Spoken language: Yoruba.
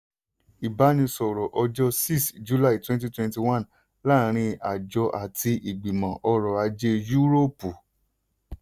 ìbánisọ̀rọ̀ ọjọ́ six july twenty twenty one láàárín àjọ àti ìgbìmọ̀ ọrọ̀ ajé yúróòpù.